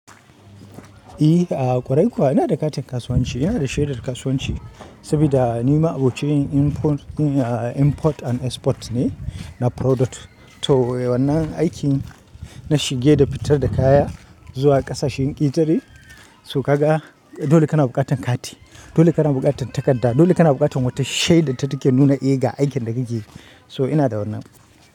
I, a ƙwarai kuwa ina da katin kasuwanci, ina da shaidar kasuwanci saboda ni ma abocin import and export ne na product. To wannan aikin na shige da fitar da kaya zuwa ƙasashen ƙetare. So ka ga dole kana buƙatar kati, dole kana buƙatar takarda, dole kana buƙatar wata shaidar da take nuna eh ga aikin da kake yi. So ina da wannan.